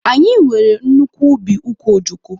Anyị nwere nnukwu ubi ukwu ojoko